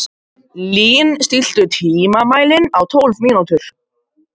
Lín, stilltu tímamælinn á tólf mínútur.